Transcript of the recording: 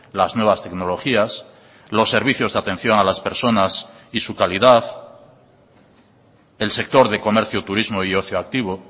las nuevas tecnologías los servicios de atención a las personas y su calidad el sector de comercio turismo y ocio activo